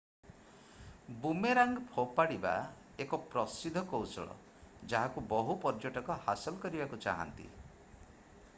boomerang ଫୋପାଡ଼ିବା ଏକ ପ୍ରସିଦ୍ଧ କୌଶଳ ଯାହାକୁ ବହୁ ପର୍ଯ୍ୟଟକ ହାସଲ କରିବାକୁ ଚାହାନ୍ତି